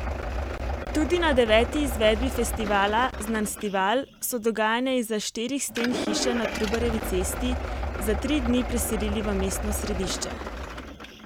Tudi na deveti izvedbi festivala Znanstival so dogajanje izza štirih sten hiše na Trubarjevi cesti za tri dni preselili v mestno središče.